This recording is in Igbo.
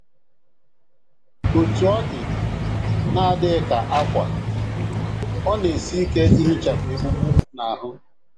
Otú ọ dị, na - adịghị ka ákwà, ọ na - esi ike ihichapụ egbugbu n’ahụ́.